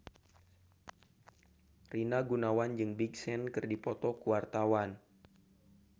Rina Gunawan jeung Big Sean keur dipoto ku wartawan